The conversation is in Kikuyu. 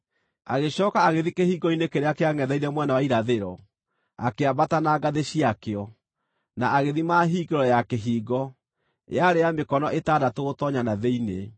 Agĩcooka agĩthiĩ kĩhingo-inĩ kĩrĩa kĩangʼetheire mwena wa irathĩro. Akĩambata na ngathĩ ciakĩo, na agĩthima hingĩro ya kĩhingo; yarĩ ya mĩkono ĩtandatũ gũtoonya na thĩinĩ.